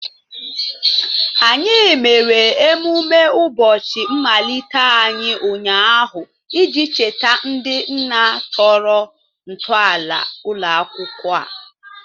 Anyị mere emume ụbọchị mmalite anyị ụnyaahụ iji cheta ndị nna tọrọ ntọala ụlọ akwụkwọ a